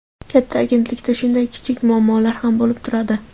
Katta agentlikda shunday kichik muammolar ham bo‘lib turadi.